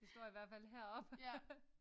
Det står i hvert fald heroppe